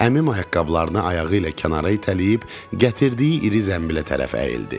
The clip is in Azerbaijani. Əmim ayaqqabılarını ayağı ilə kənara itələyib, gətirdiyi iri zənbilə tərəf əyildi.